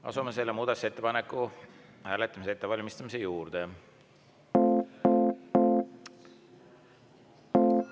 Asume selle muudatusettepaneku hääletamise ettevalmistamise juurde.